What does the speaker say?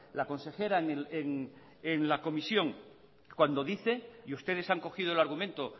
la consejera en la comisión cuando dice y ustedes han cogido el argumento